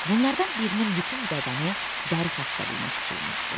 Bunlardan birinin bütün bədəni dəri xəstəliyinə tutulmuşdu.